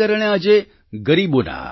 તેને કારણે આજે ગરીબોના